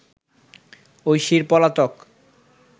ঐশীর পলাতক